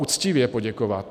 Uctivě poděkovat.